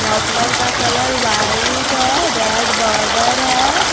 Muffler का colour white है red border है।